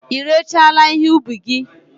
Ị rechaala ihe ụbi gi?